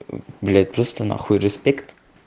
блядь просто на хуй уважение